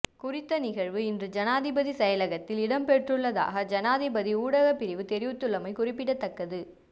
குறித்த நிகழ்வு இன்று ஜனாதிபதி செயலகத்தில் இடம்பெற்றுள்ளதாக ஜனாதிபதி ஊடகப் பிரிவு தெரிவித்துள்ளமை குறிப்பிடத்தக்கது